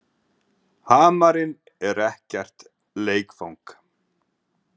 Hamarinn er ekkert leikfang.